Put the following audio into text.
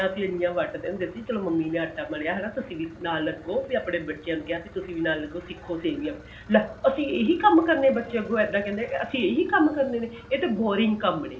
ਕਿ ਸੇਮਿਆ ਅਸੀਂ ਵਟਦੇ ਹੁੰਦੇ ਸੀਗੇ ਚਲੋ ਮੰਮੀ ਨੇ ਆਟਾ ਮਲਿਆ ਹਨਾ ਤੁਸੀਂ ਵੀ ਨਾਲ ਲੱਗੋ ਆਪਣੇ ਬੱਚਿਆ ਨੂੰ ਕਿਹਾ ਤੁਸੀਂ ਵੀ ਨਾਲ ਲੱਗੋ ਸਿੱਖੋ ਸੇਮਿਆ ਲੈ ਅਸੀਂ ਇਹੀ ਕੰਮ ਕਰਨੇ ਬੱਚੇ ਅੱਗੋ ਏਦਾਂ ਕਹਿੰਦੇ ਅਸੀਂ ਏਹਿਓ ਕੰਮ ਕਰਨੇ ਨੇ ਇਹ ਤ੍ਜ਼ਨ boring ਕੰਮ ਨੇ